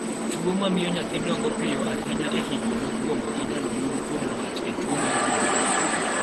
. Tuo mamio nyathi dongo piyo ahinya e higni mokwongo inyalo yude kuom wat e tuo mar gund